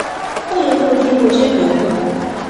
ó yẹ kó dín bó ṣe ń lò ó kù